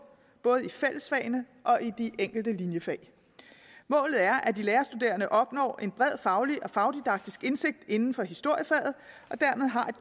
både i fællesfagene og i de enkelte linjefag målet er at de lærerstuderende opnår en bred faglig og fagdidaktisk indsigt inden for historiefaget